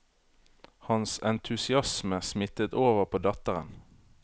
Hans entusiasme smittet over på datteren.